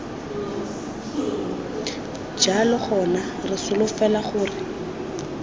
jalo gona re solofela gore